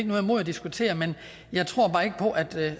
noget imod at diskutere men jeg tror bare ikke på at der